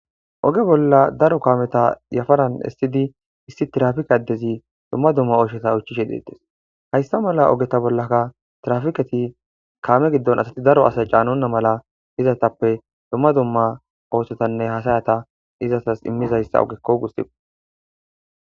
Oge bolla daro kaameta yafaran essidi issi tirafike addezi dumma dumma oysheta uychishe deettes hayssa mala ogeta bollaka trafiqati kaame giddon asati daro asay caanonna mala izatappe dumma dumma oosotanne hasayata izatas immizayssa ogekko gussiba.